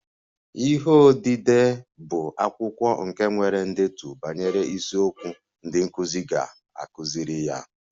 Ihe odide mmụta bụ akwụkwọ nke nwere ndetu banyere isiokwu ndị nkụzi ga-akụziri ya